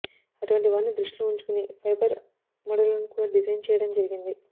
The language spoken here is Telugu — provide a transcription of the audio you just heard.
అటువంటి వారిని దృష్టిలో ఉంచుకొని ఫైబర్ మడులను కూడా డిజైన్ చెయ్యడం జరిగింది